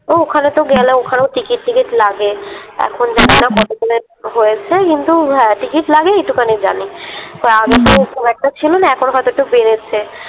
তো ওখানেতো গেলে ওখানেও টিকিট ঠিকিট লাগে এখন জানিনা কত করে হয়েছে কিন্তু হ্যাঁ টিকিট লাগে এটুখানি জানি তা আগেতো খুব একটা ছিল না এখন হয়তো একটু বেড়েছে।